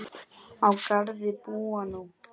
Á Garði búa nú